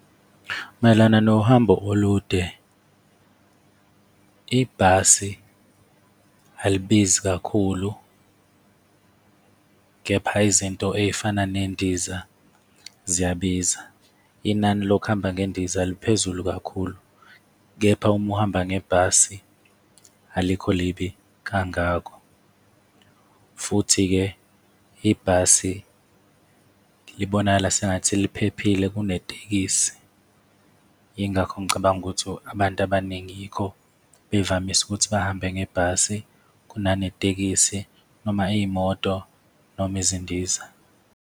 Mayelana nohambo olude, ibhasi alibizi kakhulu kepha izinto ey'fana nendiza ziyabiza. Inani lokuhamba ngendiza liphezulu kakhulu, kepha uma uhamba ngebhasi alikho libi kangako. Futhi-ke ibhasi libonakala sengathi liphephile kunetekisi. Yingakho ngicabanga ukuthi abantu abaningi yikho bevamise ukuthi bahambe ngebhasi kunanetekisi, noma iy'moto noma izindiza.